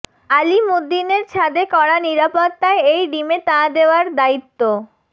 আলিমুদ্দিনের ছাদে কড়া নিরাপত্তায় এই ডিমে তা দেওয়ার দায়িত্ব